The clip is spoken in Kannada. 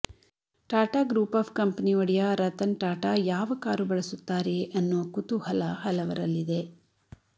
ಟಾಟಾ ಗ್ರೂಪ್ ಆಫ್ ಕಂಪನಿ ಒಡೆಯ ರತನ್ ಟಾಟಾ ಯಾವ ಕಾರು ಬಳಸುತ್ತಾರೆ ಅನ್ನೋ ಕುತೂಹಲ ಹಲವರಲ್ಲಿದೆ